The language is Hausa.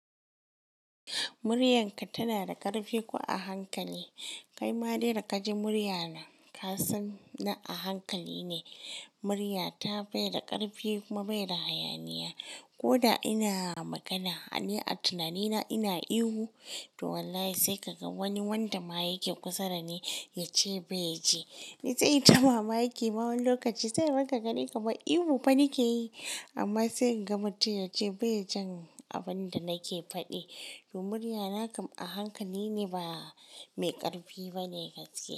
Muryarka tana da ƙarfi ko a hankali? Kai ma dai da kaji murya na ka san na a hankali ne. Murya ta bai da ƙarfi kuma bai da hayaniya. Ko da ina magana, ni a tunanina ina ihu to wallahi sai ka ga wani wanda ma yake kusa da ni ya ce bai ji. Ni sai in ta mamaki ma wani lokaci sai irin ka gani kamar ihu fa nake yi amma sai in ga mtum yace bai jin abin da nake faɗi. To muryana kam a hankali ne ba mai ƙarfi ba ne gaske.